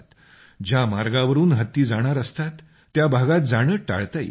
ज्या मार्गावरून हत्ती जाणार असतात त्या भागात जाणं टाळता येतं